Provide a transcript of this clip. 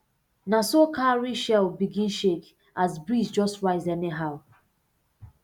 na so cowrie shell begin shake as breeze just rise anyhow